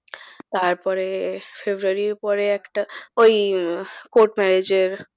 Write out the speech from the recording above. তারপরে February র পরে একটা ওই court marriage এর